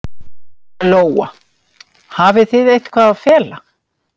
Lóa: Hafið þið eitthvað að fela?